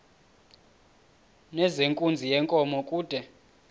nezenkunzi yenkomo kude